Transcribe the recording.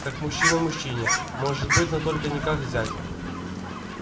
как мужчина мужчине может быть но только не как зять